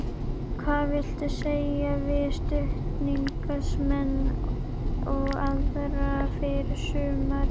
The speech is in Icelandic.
Hvað viltu segja við stuðningsmenn og aðra fyrir sumarið?